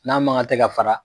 N'a man kan tɛ ka fara.